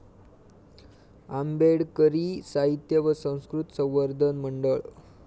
आंबेडकरी साहित्य व संस्कृत संवर्धन मंडळ